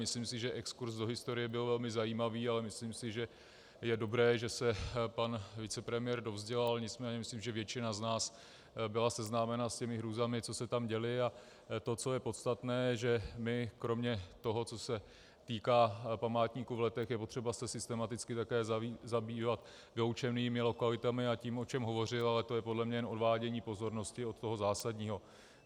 Myslím si, že exkurz do historie byl velmi zajímavý, ale myslím si, že je dobré, že se pan vicepremiér dovzdělal, nicméně myslím, že většina z nás byla seznámena s těmi hrůzami, co se tam děly, a to, co je podstatné, že my kromě toho, co se týká památníku v Letech, je potřeba se systematicky také zabývat vyloučenými lokalitami a tím, o čem hovořil, ale to je podle mě jen odvádění pozornosti od toho zásadního.